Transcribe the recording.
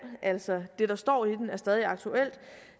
altså det der står i den er stadig aktuelt